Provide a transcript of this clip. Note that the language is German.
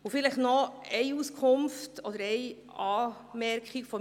Erlauben Sie mir eine weitere Anmerkung.